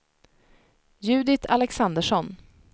Judit Alexandersson